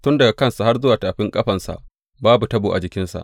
Tun daga kansa har zuwa tafin ƙafansa babu tabo a jikinsa.